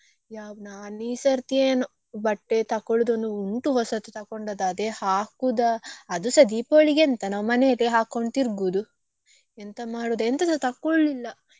ನಾನ್ ಈ ಸರ್ತಿ ಏನೋ ಬಟ್ಟೆ ತಕೊಳ್ಳುದೊಂದ್ ಉಂಟು ಹೊಸತು ತಗೊಂಡದ್ದು ಅದೇ ಹಾಕುದಾ ಅದುಸಾ Deepavali ಗೆ ಎಂತ ನಾವ್ ಮನೆಯಲ್ಲಿ ಹಾಕೊಂಡು ತಿರ್ಗುದು ಎಂತ ಮಾಡುದು ಎಂತದು ತಕೊಳ್ಲಿಲ್ಲ.